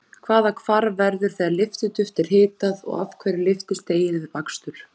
Hvaða hvarf verður þegar lyftiduft er hitað og af hverju lyftist deig við bakstur?